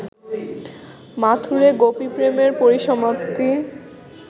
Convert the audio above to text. মাথূরে গোপীপ্রেমের পরিসমাপ্তি